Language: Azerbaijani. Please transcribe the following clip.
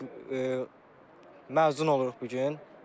Bizim məzun oluruq bu gün.